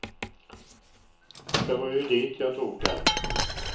Det var ju dit jag tog dem.